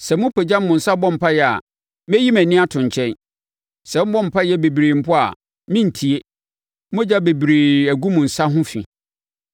Sɛ mopagya mo nsa bɔ mpaeɛ a, mɛyi mʼani ato nkyɛn. Sɛ mobɔ mpaeɛ bebree mpo a merentie. “Mogya bebree agu mo nsa ho fi.